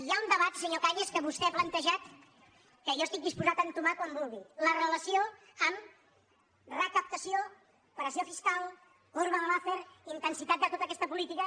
hi ha un debat senyor cañas que vostè ha plantejat que jo estic disposat a entomar quan vulgui la relació amb recaptació pressió fiscal corba de laffer intensitat de tota aquesta política